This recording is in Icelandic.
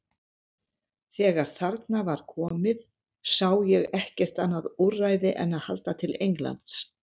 Þegar þarna var komið sá ég ekkert annað úrræði en að halda til Englands.